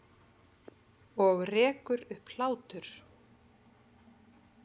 Og rekur upp hlátur.